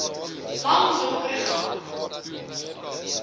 lang donker gang